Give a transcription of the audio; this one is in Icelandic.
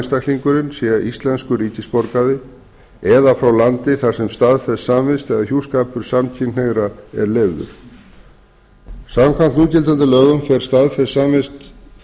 einstaklingurinn sé íslenskur ríkisborgari eða frá landi það sem staðfest samvist eða hjúskapur samkynhneigðra er leyfður samkvæmt núgildandi lögum fer staðfest samvist